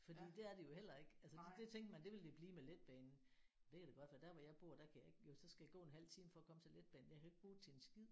Fordi det er det jo heller ikke altså det tænkte man det ville det blive med letbanen det kan da godt være der hvor jeg bor der kan jeg ikke jo så skal jeg gå en halv time for at komme til letbanen jeg kan jo ikke bruge det til en skid